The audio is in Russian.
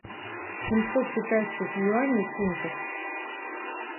семьсот китайских юаней в фунтах